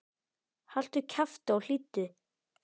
Haltu kjafti og hlýddu!